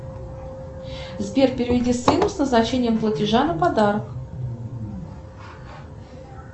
сбер переведи сыну с назначением платежа на подарок